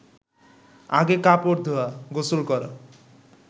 আগে কাপড় ধোয়া, গোসল করা